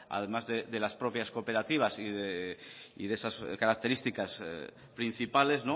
además de las propias cooperativas y de esas características principales